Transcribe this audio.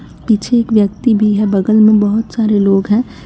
पीछे एक व्यक्ति भी है बगल में बहुत सारे लोग हैं।